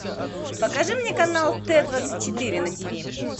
покажи мне канал т двадцать четыре на тв